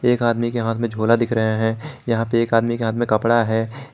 एक आदमी के हाथ में झोला दिख रहे हैं यहां पे एक आदमी के हाथ में कपड़ा है।